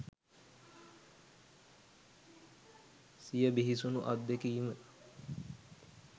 සිය බිහිසුණු අත්දැකීම